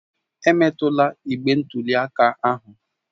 Emetụla igbe ntụli aka ahụ!